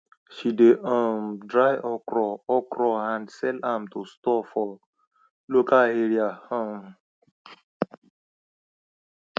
she de um dry okro okro and sell am to stores for local area um